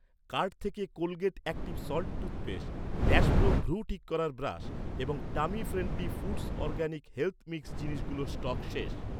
Cart থেকে Colgate active salt toothpaste , dash pro ভ্রূ ঠিক করার ব্রাশ এবং tummy friendly foods organic health mix জিনিসগুলোর স্টক শেষ।